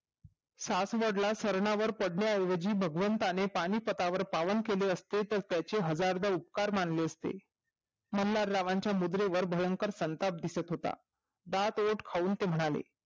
सात व्रणावर पडले आहे हे भगवंताने पानिपतावर पावन केले असते तर त्याचे हजारदा उपकार मानले असते मल्हार रावच्या मुद्रे वर भयंकर संताप दिसत होता दात ओठ खाऊन म्हणाले